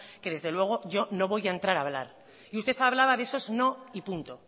que desde luego yo no voy a entrar a hablar y usted hablaba de esos no y punto